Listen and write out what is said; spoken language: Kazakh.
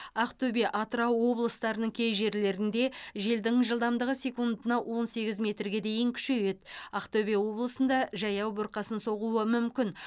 ақтөбе атырау облыстарының кей жерлерінде желдің жылдамдығы секундына он сегіз метрге дейін күшейеді ақтөбе облысында жаяу бұрқасын соғуы мүмкін